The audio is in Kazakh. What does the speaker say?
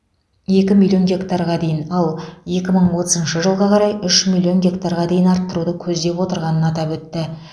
екі миллион гектарға дейін ал екі мың отызыншы жылға қарай үш миллион гектарға дейін арттыруды көздеп отырғанын атап өтті